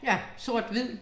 Ja, sort hvid